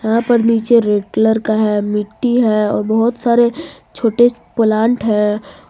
यहां पर नीचे रेड कलर का है मिट्टी है और बहुत सारे छोटे प्लांट है।